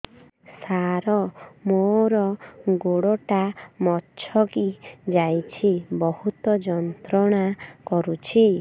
ସାର ମୋର ଗୋଡ ଟା ମଛକି ଯାଇଛି ବହୁତ ଯନ୍ତ୍ରଣା କରୁଛି